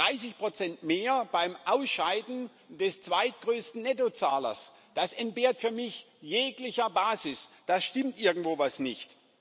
30 mehr beim Ausscheiden des zweitgrößten Nettozahlers Das entbehrt für mich jeglicher Basis, da stimmt irgendwo etwas nicht.